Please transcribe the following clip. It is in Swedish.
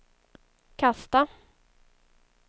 kasta